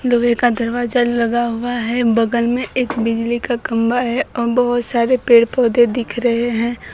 लोहे का दरवाजा लगा हुआ है बगल में एक बिजली का खंबा है औ बहोत सारे पेड़-पौधे दिख रहे हैं।